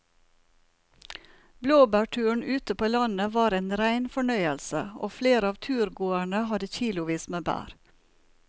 Blåbærturen ute på landet var en rein fornøyelse og flere av turgåerene hadde kilosvis med bær.